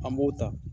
An b'o ta